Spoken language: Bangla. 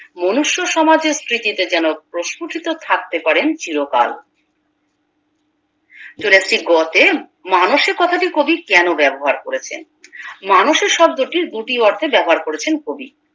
মনুষ্য সমাজের স্মৃতিতে যেন প্রস্ফুটিত থাকতে পারেন চিরকাল চলে আসছি গ তে মানুষে কথাটি কবি কেন ব্যাবহার করেছেন মানুষের শব্দটি দুটি অর্থে ব্যবহার করেছেন কবি